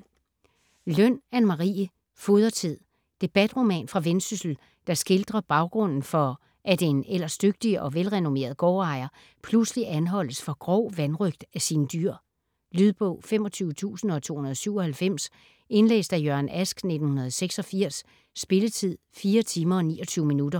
Løn, Anne Marie: Fodretid Debatroman fra Vendsyssel, der skildrer baggrunden for, at en ellers dygtig og velrenommeret gårdejer pludselig anholdes for grov vanrøgt af sine dyr. Lydbog 25297 Indlæst af Jørgen Ask, 1986. Spilletid: 4 timer, 29 minutter.